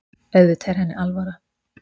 Auðvitað er henni alvara.